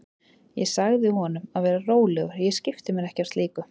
Ég sagði honum að vera rólegur, ég skipti mér ekki af slíku.